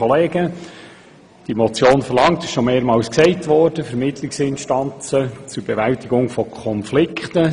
Die Motion verlangt Vermittlungsinstanzen zur Bewältigung von Konflikten.